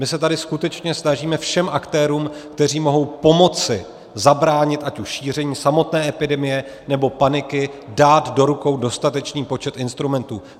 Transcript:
My se tady skutečně snažíme všem aktérům, kteří mohou pomoci zabránit ať už šíření samotné epidemie, nebo paniky, dát do rukou dostatečný počet instrumentů.